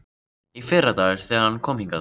Í fyrradag, þegar hann kom hingað.